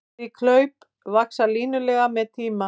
Slík hlaup vaxa línulega með tíma.